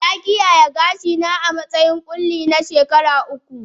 Na kiyaye gashina a matsayin ƙulli na tsawon shekaru uku